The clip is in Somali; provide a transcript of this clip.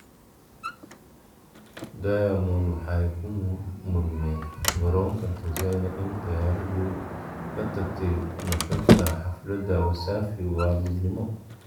Diamond waxay ku murmeen garonka Tanzania in diyaaraddu ka tagtay nuxurka xafladda Wasafi waa midnimo.